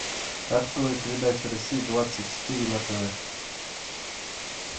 открой передачу россия двадцать четыре на тв